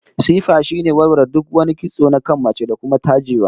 Tsifa shine warware duk wani kitso na kan mace, da kuma tajewa